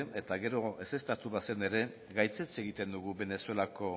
eta gero ezeztatu bazen ere gaitzetsi egiten dugu venezuelako